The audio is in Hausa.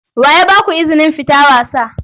Wa ya ba ku izinin fita wasa?